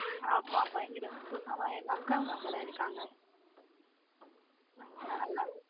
ஆமா பயங்கர உப்பு ஆமா எங்க அக்கா அவங்க அங்க தான் இருக்காங் அங்க போனா நல்லா இருக்கும்.